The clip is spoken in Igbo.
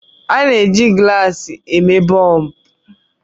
a na-eji gụlàsị eme bọlbụ